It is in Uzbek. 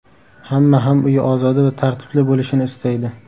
Hamma ham uyi ozoda va tartibli bo‘lishini istaydi.